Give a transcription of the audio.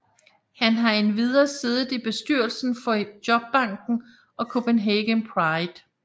Han har endvidere siddet i bestyrelsen for Jobbanken og Copenhagen Pride